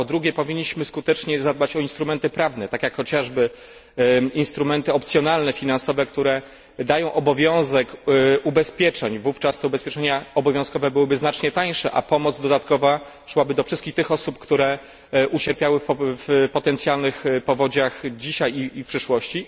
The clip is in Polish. Po drugie powinniśmy skutecznie zadbać o instrumenty prawne, tak jak chociażby instrumenty opcjonalne, finansowe, które dają obowiązek ubezpieczeń. Wówczas te ubezpieczenia obowiązkowe byłyby znacznie tańsze, a pomoc dodatkowa szłaby do wszystkich osób, które ucierpiały w potencjalnych powodziach dzisiaj i w przyszłości.